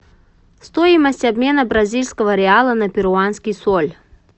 стоимость обмена бразильского реала на перуанский соль